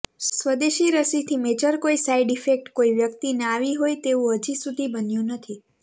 સ્વદેશીરસીથી major કોઇ side effect કોઇ વ્યકિતને આવી હોય તેવુ હજી સુધી બન્યુ નથી